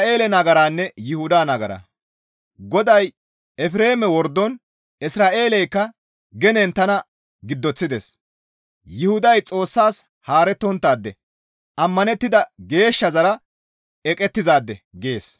GODAY, «Efreeme wordon Isra7eeleykka genen tana giddoththides; Yuhuday Xoossas haarettonttaade; ammanettida Geeshshazara eqettizaade» gees.